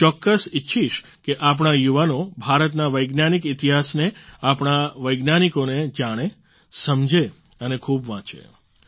હું ચોક્કસ ઈચ્છીશ કે આપણા યુવાનો ભારતના વૈજ્ઞાનિક ઈતિહાસને આપણા વૈજ્ઞાનિકોને જાણે સમજે અને ખૂબ વાંચે